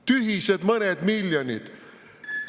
Tühised mõned miljonid!